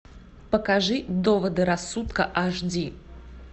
покажи доводы рассудка аш ди